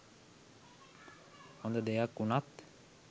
හොඳ දෙයක් වුනත්